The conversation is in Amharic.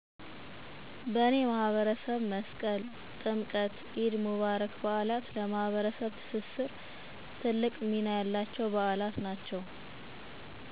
" በኔ ማህበረሰብ መስቀል፣ ጥምቀት፣ ኢድ ሙባረክ በዓላት ለማህበረሰብ ትስስር ትልቅ ሚና አላቸዉ።"